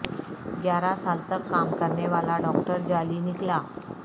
گیارہ سال تک کام کرنے والا ڈاکٹر جعلی نکلا